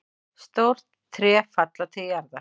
Stór tré falla til jarðar.